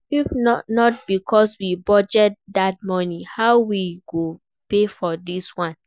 If not because we budget dat money how we go pay for dis one?